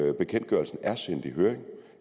at bekendtgørelsen er sendt i høring